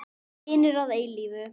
Vinir að eilífu.